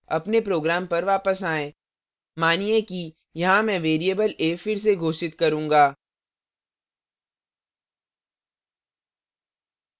अपने program पर वापस आएँ मानिए कि यहाँ मैं variable a फिर से घोषित करूंगा